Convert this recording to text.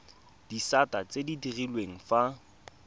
disata tse di direlwang fa